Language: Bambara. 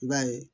I b'a ye